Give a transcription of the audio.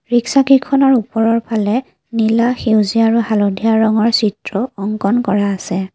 Rickshaw কেইখনৰ ওপৰৰ ফালে নীলা সেউজীয়া আৰু হালধীয়া ৰঙৰ চিত্ৰ অংকন কৰা আছে।